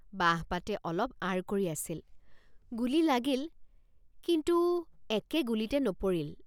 বাঁহপাতে অলপ আঁৰ কৰি আছিল গুলী লাগিলকিন্তু একে গুলীতে নপৰিল।